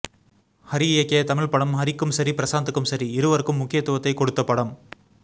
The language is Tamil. ஹரி இயக்கிய தமிழ் படம் ஹரிக்கும் சரி பிரசாந்துக்கும் சரி இருவருக்கும் முக்கியத்துவத்தை கொடுத்த படம்